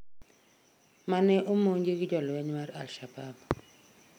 mane omonji gi jolweny mar Alshabab